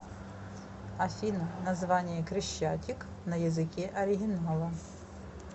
афина название крещатик на языке оригинала